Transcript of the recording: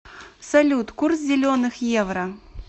салют курс зеленых евро